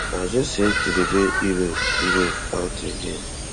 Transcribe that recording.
i just hate to dey bail europe europe out again